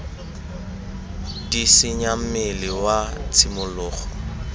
d senya mmele wa tshimologo